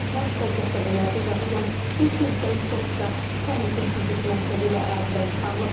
Kənd və qəsəbələrdə yaşayan 300-dən çox şəxs təhlükəsizlik məqsədilə ərazidən çıxarılıb.